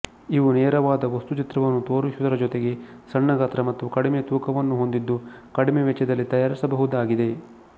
ಇವು ನೇರವಾದ ವಸ್ತುಚಿತ್ರವನ್ನು ತೋರಿಸುವುದರ ಜೊತೆಗೆ ಸಣ್ಣಗಾತ್ರ ಮತ್ತು ಕಡಿಮೆ ತೂಕವನ್ನು ಹೊಂದಿದ್ದು ಕಡಿಮೆ ವೆಚ್ಚದಲ್ಲಿ ತಯಾರಿಸಬಹುದಾಗಿದೆ